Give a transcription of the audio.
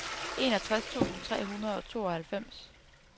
enogtres tusind tre hundrede og tooghalvfems